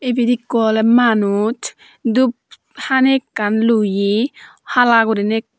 ibed ikko oley manuj dup hani ekkan loye hala guriney ekkan.